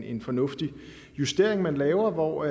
en fornuftig justering man laver hvor